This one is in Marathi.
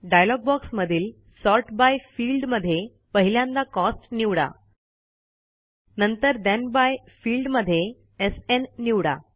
डायलॉग बॉक्समधील सॉर्ट बाय फील्ड मध्ये पहिल्यांदा कॉस्ट निवडा नंतर ठेण बाय फील्ड मध्ये एसएन निवडा